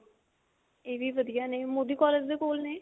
ਇਹ ਵੀ ਵਧੀਆ ਨੇ ਮੋਦੀ ਕਾਲੇਜ ਦੇ ਕੋਲ ਨੇ